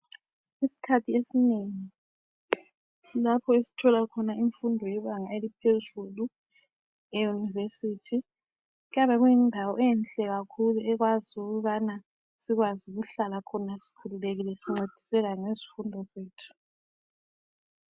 Isikhathi esinengi lapho esithola khona imfundo yebanga eliphezulu, eYunivesithi kuyabe kuyindawo enhle kakhulu ekwazi ukubana sikwazi ukuhlala khona sikhululekile sincediseka ngezifundo zethu.